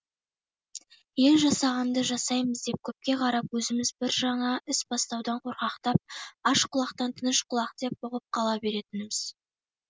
ел жасағанды жасаймыз деп көпке қарап өзіміз бір жаңа іс бастаудан қорқақтап аш құлақтан тыныш құлақ деп бұғып қала беретініміз